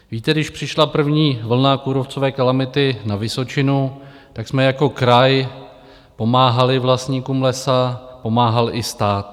Víte, když přišla první vlna kůrovcové kalamity na Vysočinu, tak jsme jako kraj pomáhali vlastníkům lesa, pomáhal i stát.